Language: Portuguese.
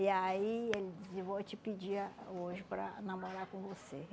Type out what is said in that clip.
E aí ele dizia, vou te pedir ah hoje para namorar com você.